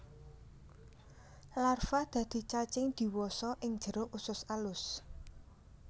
Larva dadi cacing diwasa ing jero usus alus